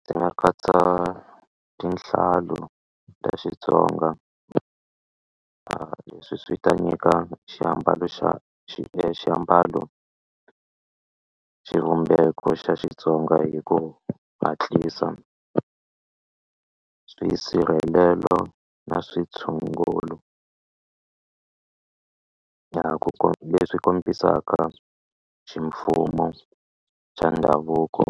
Ndzi nga katsa tinhlo ta Xitsonga a leswi swi ta nyika xiambalo xa xiambalo xivumbeko xa Xitsonga hi ku hatlisa swisirhelelo na switshungulo na ku leswi kombisaka ximfumo xa ndhavuko